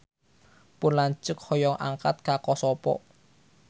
Pun lanceuk hoyong angkat ka Kosovo